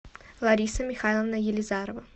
лариса михайловна елизарова